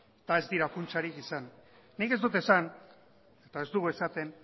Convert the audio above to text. eta ez dira funtsarik izan nik ez dut esan eta ez dugu esaten